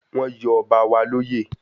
Wọ́n yọ ọba wa lóyè